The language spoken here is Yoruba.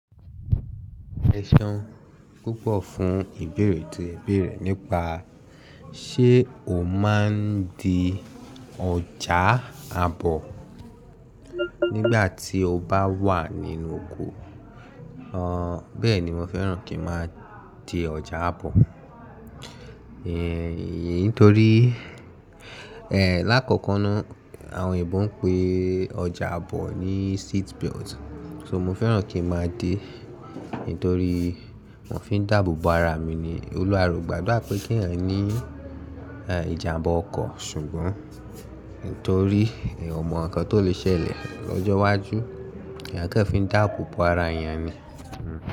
E ṣeun púpọ̀ fún ìbéèrè tí ẹ béèrè nípa ṣé o máa ń di ọjà àbọ̀ nígbà tí o bá wà nínú oko. Ọ bẹ́ẹ̀ ni mo fẹ́ràn kí ń máa di ọjà àbọ̀. Nítorí, eh, lákọ̀kọ́ náà àwọn òyìnbó ń pè ọjà àbọ̀ ní seat belt. So mo fẹ́ràn kí ń máa dé, nítorí mo fi ń dáàbò bo ara mi ni. Olúwa re ò gbàdura pé kí ẹ̀yin ní, eh, ìjàmbá ọkọ̀, ṣùgbọ́n nítorí eyan o mọ̀ ǹkan tó lè ṣẹlẹ̀ lọ́jọ́ iwájú, eyan ko í fi ń dáàbò bo ara èèyàn ni.